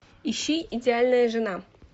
ищи идеальная жена